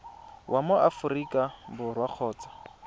wa mo aforika borwa kgotsa